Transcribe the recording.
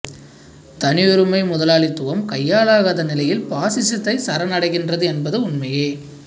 தனியுரிமை முதலாளித்துவம் கையாலாகாத நிலையில் பாசிசத்தைச் சரணடைகின்றது என்பது உண்மையே